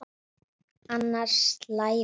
Annars slævist hún.